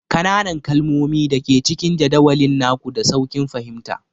Ƙananan kalmomi da ke cikin jadawalin naku, da sauƙin fahimta